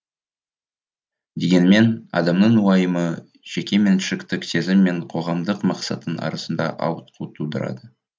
дегенмен адамның уайымы жекеменшіктік сезім мен қоғамдық мақсаттың арасында ауытқу тудырады